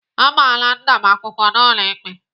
Agbaala nna m akwụkwọ n'ụlọ ikpe.